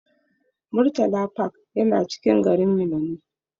Murtala park yana cikin garin Minna ne.